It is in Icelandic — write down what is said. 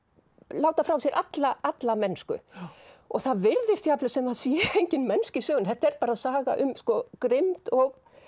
láta frá sér alla alla mennsku og það virðist jafnvel sem það sé engin mennska í sögunni þetta er bara saga um grimmd og